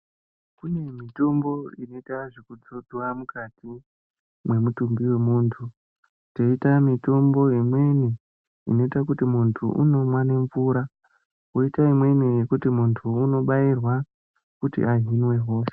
Kume mitombo inoitwa zvekudzodzwa mukati mwemutumbi wemunthu koita mitombo imweni inoite kuti munthu unomwe nemvura koite imweni yekuti munthu unobairwa kuti ahinwe hosha.